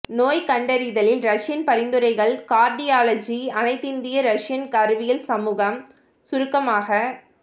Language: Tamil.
நோய்க்கண்டறிதலில் ரஷியன் பரிந்துரைகள் கார்டியாலஜி அனைத்திந்திய ரஷியன் அறிவியல் சமூகம் சுருக்கமாக